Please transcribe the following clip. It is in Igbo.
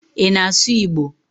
Ị na-asụ Igbo?